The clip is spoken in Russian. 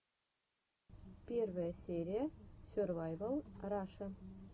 первая серия сервайвал раша